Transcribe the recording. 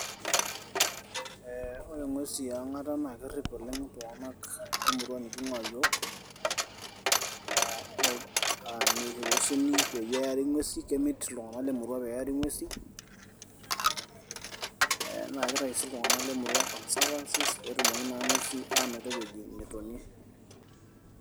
woore ng'uesi eang''ata naa kerip oleng iltunganak lemurua likinguaa yioo miruhusuni peari ng'uesi kemit iltunganak peari ng'uesi naa kitayu sii iltunganak conservancies petumoki naa ng'uesi anoto ewueji natonie